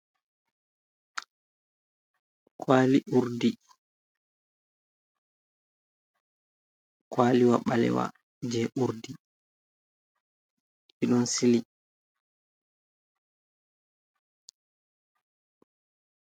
Kwaali uurdi, kwaaliwa ɓaleewa jey uurdi ɓe ɗon sili.